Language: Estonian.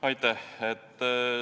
Aitäh!